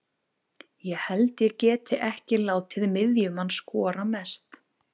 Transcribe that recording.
Ég held ég geti ekki látið miðjumann skora mest.